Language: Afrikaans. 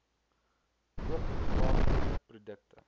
koop plaaslike produkte